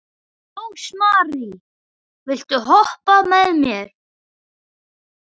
Rósmary, viltu hoppa með mér?